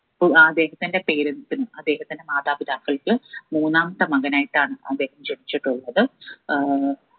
ഉ അദ്ദേഹത്തിന്റെ parents ഉം അദ്ധെഅഹത്തിന്റെ മാതാപിതാക്കൾക്ക് മൂന്നാമത്തെ മകനായിട്ടാണ് അദ്ദേഹം ജനിച്ചിട്ടുള്ളത് ഏർ